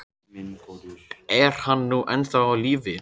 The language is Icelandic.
Er hann nú ennþá á lífi?